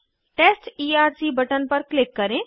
test ERC button पर click करें